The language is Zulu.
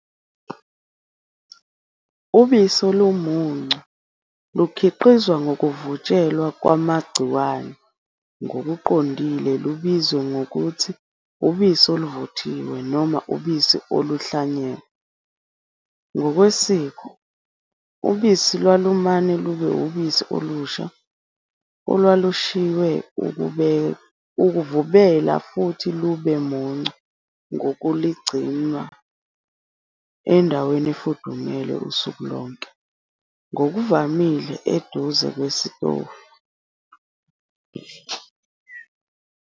Ubisi olumuncu lukhiqizwa ngokuvutshelwa kwamagciwane ngokuqondile lubizwa ngokuthi ubisi oluvuthiwe noma ubisi oluhlanyelwe. Ngokwesiko, ubisi olumuncu lwalumane lube ubisi olusha olwalushiywe ukuvubela futhi lube mncu ngokuligcinwa endaweni efudumele usuku lonke, ngokuvamile eduze kwesitofu.